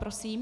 Prosím.